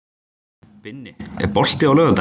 Binni, er bolti á laugardaginn?